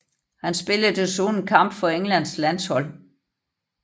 Han spillede desuden en kamp for Englands landshold